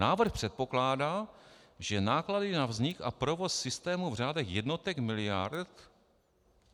Návrh předpokládá, že náklady na vznik a provoz systému v řádech jednotek miliard...